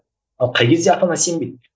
ал қай кезде ата ана сенбейді